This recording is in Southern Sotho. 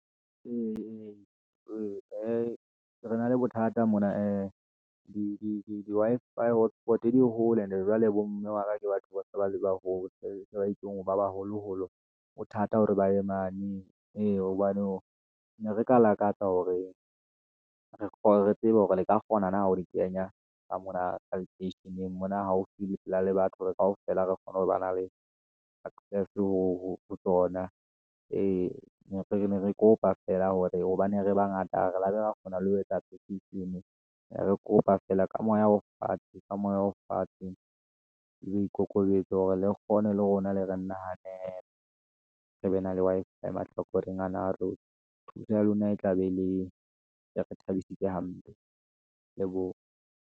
ee, re na le bothata mona ee, di-Wi-Fi hotspot, di hole and-e jwale bo mme wa ka ke batho se ba le baholo ba baholoholo hothata hore ba ye mane. Ee, hobane ne re ka lakatsa hore re tsebe hore le ka kgona na ho di kenya ka mona lekeisheneng mona, haufi le pela le batho, hore kaofela re kgone ho ba na le access ho tsona. Ee, re ne re kopa fela hore hobane re bangata re labe re kgona le ho etsa ne re kopa ka moya o fatshe ka moya o fatshe, le bo ikokobetse hore le kgone le rona le re nahale re be na le Wi-Fi mahlakoreng ana a rona. Thuso ya lona e tla be le re thabisitse hampe le bo.